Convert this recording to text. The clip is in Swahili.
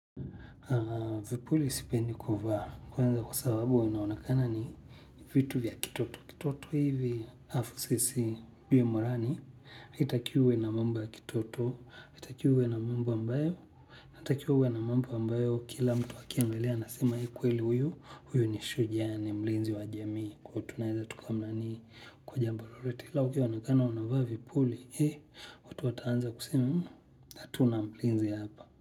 Vipuli sipendi kuvaa kwanza kwa sababu unaonekana ni vitu vya kitoto, kitoto hivi halafu sisi bie marani, haitakiwi uwe na mambo ya kitoto, haitakiwi uwe na mambo ambayo, haitakiwi uwe na mambo ambayo kila mtu wakia mlelea nasima ikweli huyu, huyu nishu jane mlinzi wa jamii, kwa tunahiza tukamani kwa jambalorete, laukia wunaunakana wunaunakana vipuli hii, wataanza kusimu hatuna mlinzi hapa.